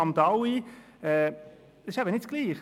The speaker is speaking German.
Hamdaoui Das ist nicht dasselbe!